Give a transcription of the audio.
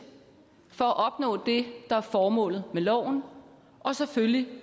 for at opnå det der er formålet med loven og selvfølgelig